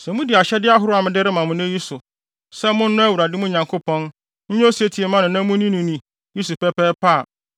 Sɛ mudi ahyɛde ahorow a mede rema mo sɛ munni so; sɛ monnɔ Awurade, mo Nyankopɔn, nyɛ osetie mma no na munni no ni, yi so pɛpɛɛpɛ a,